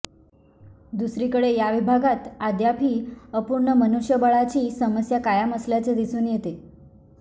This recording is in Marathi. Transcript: दुसरीकडे या विभागात अद्यापही अपूर्ण मनुष्यबळाची समस्या कायम असल्याचे दिसून येते